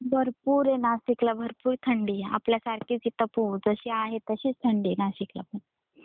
भरपूर आहे नाशिकला भरपूर थंडी आहे आपल्यासारखेच इथे पडते जशी आहे तशीच थंडी आहे नाशिकला पण.